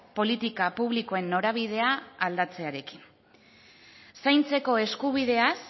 politika publikoen norabidea aldatzearekin zaintzeko eskubideaz